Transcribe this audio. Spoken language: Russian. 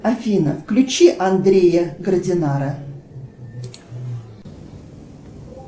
афина включи андрея гардинара